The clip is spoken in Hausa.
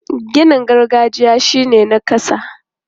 Ginin gargajiya shi ne na ƙasa.